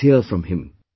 Let's hear from him